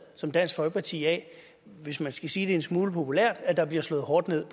som dansk folkeparti af hvis man skal sige det en smule populært at der bliver slået hårdt ned